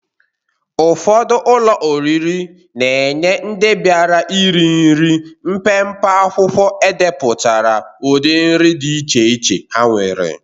Ụfọdụ ụlọ oriri na-enye ndị biara iri nri mpempe akwụkwọ edepụtara udị nri dị iche iche ha nwere.